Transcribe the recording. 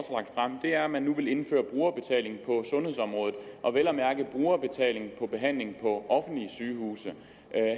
det er at man nu vil indføre brugerbetaling på sundhedsområdet og vel at mærke brugerbetaling på behandling på offentlige sygehuse